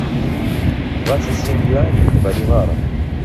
двадцать семь юаней в боливарах